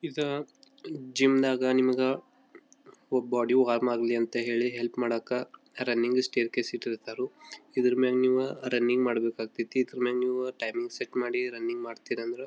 ಇದ ಜಿಮ್ ನಾಗ ನಿಮಗ ಒಬ್ಬ ಬಾಡಿ ಹಾರಂ ಆಗಲ್ಲಿ ಅಂತ ಹೇಳಿ ಹೆಲ್ಪ್ ಮಾಡಕ್ಕ ರನ್ನಿಂಗ್ ಸ್ಟೈರ್ ಕೇಸ್ ಇಟ್ಟಿರತರೋ. ಇದರ ಮ್ಯಾಲ್ ನೀವ ರನ್ನಿಂಗ್ ಮಾಡಬೇಕಾತ್ಯತಿ ಇದರ ಮ್ಯಾಗ ನೀವ ಟಾಂನಿಂಗ್ ಸೆಟ್ ಮಾಡಿ ರನ್ನಿಂಗ್ ಮಾಡತಿನ್ ಅಂದ್ರ.--